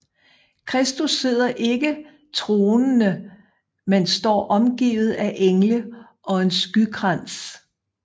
Kristus sidder ikke tronende men står omgivet af engle og en skykrans